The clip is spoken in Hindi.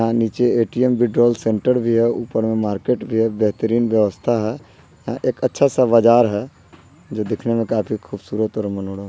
आ नीचे ए.टी.एम. विड्रोल सेंटर भी है ऊपर में मार्केट भी है बेहतरीन व्यवस्था है एक अच्छा सा बाजार है जो दिखने में काफी खूबसूरत और मनोरम --